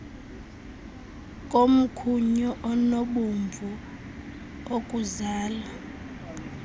komkhunyu onobomvu okuzala